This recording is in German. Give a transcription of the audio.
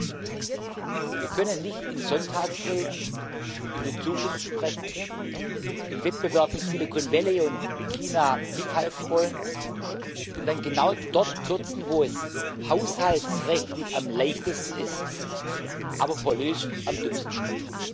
2020. Wir können nicht in Sonntagsreden über die Zukunft sprechen, im Wettbewerb mit Silicon Valley und China mithalten wollen und dann genau dort kürzen, wo es haushaltsrechtlich am leichtesten ist, aber politisch am dümmsten ist.